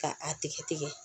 Ka a tigɛ tigɛ